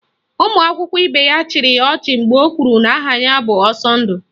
Ụmụ akwụkwọ ibe ya chịrị ya ọchị mgbe o kwuru na aha ya bụ Ọsọndụ